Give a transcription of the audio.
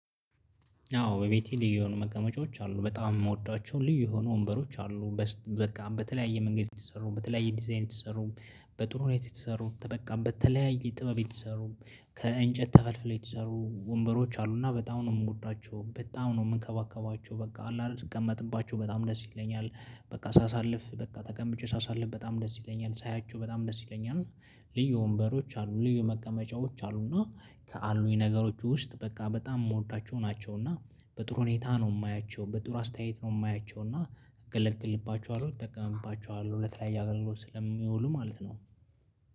አዎ በቤቴ ልዩ የሆኑ መቀመጫዎች አሉ። በጣም የምወዷቸው ልዩ የሆኑ ወንበሮች አሉ። በቃ በተለያየ መንገድ የተሰሩ በተለያየ ዲዛይን የተሰሩ በጥሩ ሁኔታ የተሰሩ በቃ በተለያየ ጥበብ የተሰሩ፤ ከእንጨት ተፈልፍለው የተሰሩ ወንበሮች፤ አሉ እና በጣም ነው የምጎዳቸው በጣም ነው የምንከባከባቸው። በቃ አለ አይደል ስቀመጥባቸው በጣም ደስ ይለኛል። በቃ ሳሳልፍ በቃ ተቀምጬ ሳሳልፍ በጣም ደስ ይለኛል። ሳያቸው በጣም ደስ ይለኛል። እና ልዩ ወንበሮች አሉ ልዩ መቀመጫዎች አሉ እና ከአሉኝ ነገሮች ውስጥ በቃ በጣም የምወዳቸው ናቸው እና በጥሩ ሁኔታ ነው የማያቸው በጥሩ አስተያየት ነው የማያቸው እና ገለገልባቸዋለሁ እጠቀምባቸዋለሁ ለተለያየላይ አገልግሎት ስለሚውሉ ማለት ነው